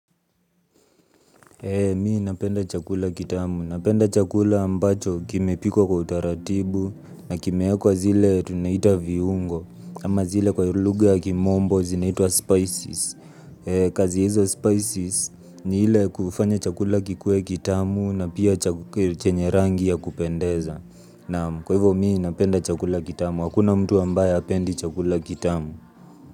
Mi napenda chakula kitamu. Napenda chakula ambacho kimepikwa kwa utaratibu na kimewekwa zile tunaita viungo ama zile kwa lugha ya kimombo zinaitwa spices. Kazi ya hizo spices ni ile kufanya chakula kikuwe kitamu na pia chenye rangi ya kupendeza. Kwa hivyo mi napenda chakula kitamu. Hakuna mtu ambaye hapendi chakula kitamu.